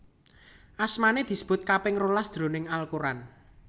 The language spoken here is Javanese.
Asmané disebut kaping rolas jroning Al Quran